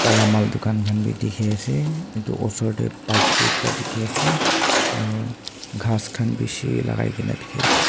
taila mal dukan khan bi dikhi ase etu osor tey bike bi ekta dikhi ase aro ghas khan bishi lagai na dikhi ase.